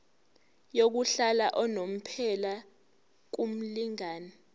yokuhlala unomphela kumlingani